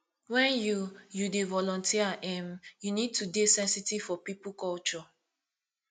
when you you dey volunteer um you need to dey sensitive to pipo culture